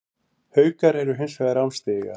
Haukar eru hins vegar án stiga